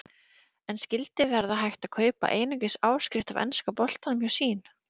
En skyldi verða hægt að kaupa einungis áskrift af enska boltanum hjá Sýn?